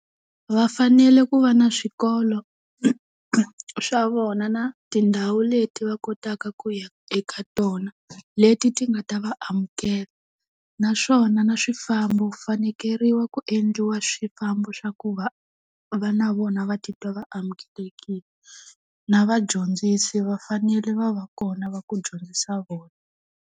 Vafanele ku va na swikolo swa vona na tindhawu leti va kotaka ku ya eka tona, leti ti nga ta va amukela. Naswona na swifambo ku fanekeriwa ku endliwa swifambo swa ku va va na vona va titwa va amukelekile. Na vadyondzisi va fanele va va kona va ku dyondzisa vona.